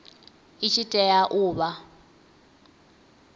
i tshi tea u vha